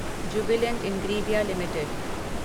Jubilant Ingrevia limited